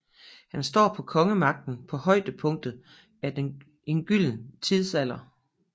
Han står for kongemagten på højdepunktet af en gylden tidsalder